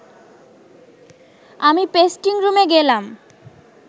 আমি পেস্টিং রুমে গেলাম